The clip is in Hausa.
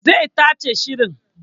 Zai tace shirin